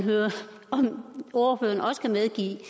høre om ordføreren også kan medgive